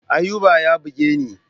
Ayuba ya buge ni.